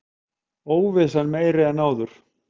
Óvissan meiri en áður